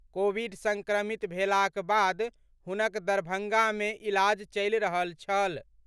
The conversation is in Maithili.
कोविड संक्रमित भेलाक बाद हुनक दरभंगा में इलाज चलि रहल छल।